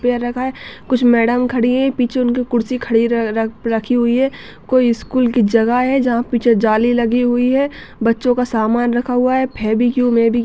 पैर रखाहै कुछ मैडम खड़ी हैं पीछे उनकी कुर्सी खड़े रखाी हुई है कोई स्कूल की जगह है जहां पीछे जाली लगी हुई है बच्चों का सामान रखा हुआ है फिर भी क्यों मैं भी क्यों--